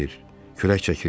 Külək çəkirdilər.